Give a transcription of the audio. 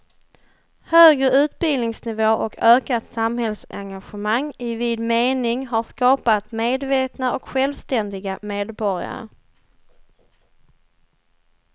Högre utbildningsnivå och ökat samhällsengagemang i vid mening har skapat medvetna och självständiga medborgare.